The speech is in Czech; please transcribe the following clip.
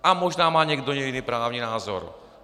A možná má někdo jiný právní názor.